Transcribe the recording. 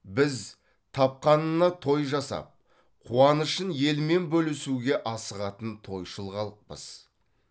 біз тапқанына той жасап қуанышын елмен бөлісуге асығатын тойшыл халықпыз